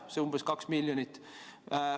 Seda on umbes 2 miljonit.